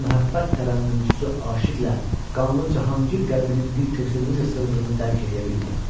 Böyük məhəbbət tərənnümçüsü aşiqlə qanlı Cahangir qəlbinin bir köksünə necə sığdığını dərk eləyə bilmirəm.